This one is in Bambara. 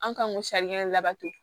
An kan ko labato